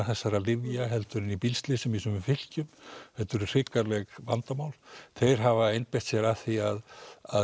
þessara lyfja heldur en í bílslysum í sumum fylkjum þetta eru hrikaleg vandamál þeir hafa einbeitt sér að því að